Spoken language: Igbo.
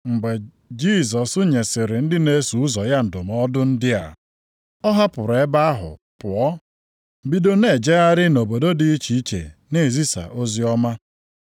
Mgbe Jisọs nyesịrị ndị na-eso ụzọ ya ndụmọdụ ndị a, ọ hapụrụ ebe ahụ pụọ. Bido na-ejegharị nʼobodo dị iche iche na-ezisa oziọma.